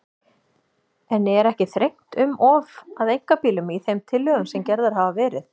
En er ekki þrengt um of að einkabílnum í þeim tillögum sem gerðar hafa verið?